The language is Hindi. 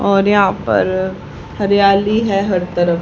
और यहां पर हरियाली है हर तरफ।